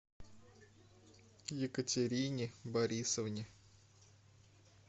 екатерине борисовне